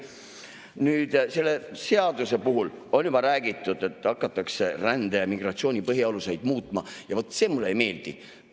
Nüüd, selle seaduse puhul on juba räägitud, et hakatakse rände ja migratsiooni põhialuseid muutma, ja vaat see mulle ei meeldi.